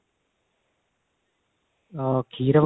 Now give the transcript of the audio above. ਅਹ ਖੀਰ